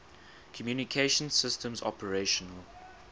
communication systems operational